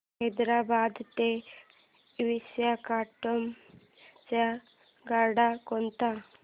हैदराबाद ते विशाखापट्ण्णम च्या गाड्या कोणत्या